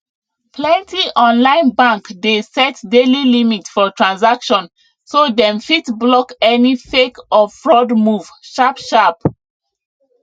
plenty online bank dey set daily limit for transaction so dem fit block any fake or fraud move sharpsharp